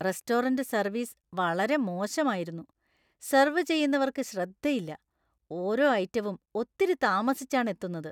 Restaurant service വളരെ മോശമായിരുന്നു. Serve ചെയ്യുന്നവര്‍ക്ക് ശ്രദ്ധയില്ല, ഓരോ ഐറ്റവും ഒത്തിരി താമസിച്ചാണ് എത്തുന്നത്.